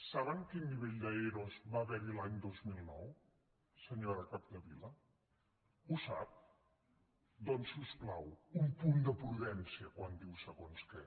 saben quin nivell d’ero va haver hi l’any dos mil nou senyora capdevila ho sap doncs si us plau un punt de prudència quan diu segons què